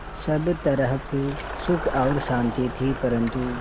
सब तरफ़ सुख और शांति थी परन्तु